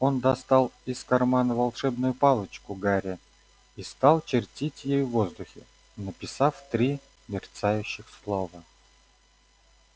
он достал из кармана волшебную палочку гарри и стал чертить ею в воздухе написав три мерцающих слова